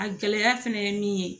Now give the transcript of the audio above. A gɛlɛya fɛnɛ ye min ye